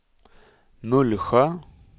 Mullsjö